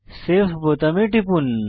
save বোতামে টিপুন